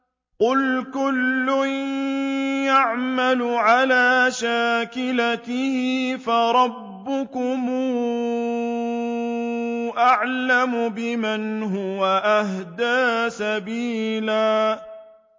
قُلْ كُلٌّ يَعْمَلُ عَلَىٰ شَاكِلَتِهِ فَرَبُّكُمْ أَعْلَمُ بِمَنْ هُوَ أَهْدَىٰ سَبِيلًا